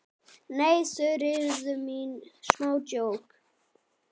Nei, Þuríður mín, smá djók.